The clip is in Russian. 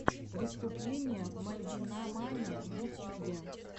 выступление мальвинамани в ютьюбе